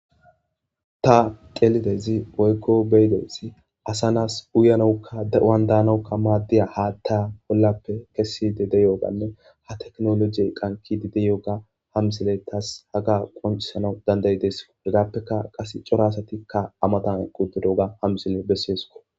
Ha delidezi oykko beyidezi asa nas uyanoukka de7oan daanaukka maaddiya haatta hollappe kessi de de yooganne ha teknolojiyey qankidi de yoga hamisile tas haga qoncisanau danday deeso hegaappeka qas cora asatikka amatan qudidoga hamisile besseesko.